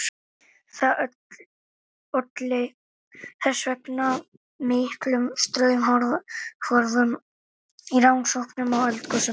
Það olli þess vegna miklum straumhvörfum í rannsóknum á eldgosum.